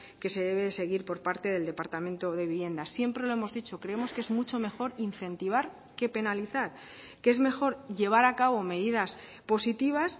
que se debe seguir por parte del departamento de vivienda siempre lo hemos dicho creemos que es mucho mejor incentivar que penalizar que es mejor llevar a cabo medidas positivas